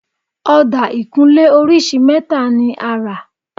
Ọ̀dà ìkunlé orísìí mẹ́ta ni a rà